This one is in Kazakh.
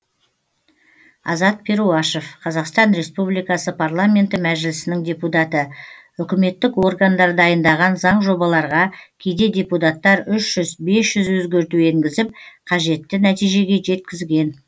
азат перуашев қазақстан республикасы парламенті мәжілісінің депутаты үкіметтік органдар дайындаған заң жобаларға кейде депутаттар үш жүз бес жүз өзгерту енгізіп қажетті нәтижеге жеткізген